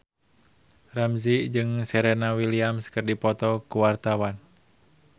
Ramzy jeung Serena Williams keur dipoto ku wartawan